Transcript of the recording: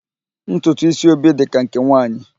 Ntutu ísí Obi dị ka nke nwaanyị